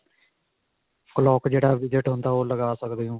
clock ਜਿਹੜਾ visit ਹੁੰਦਾ ਹੈ, ਓਹ ਤੁਸੀਂ ਲੱਗਾ ਸਕਦੇ ਹੋ.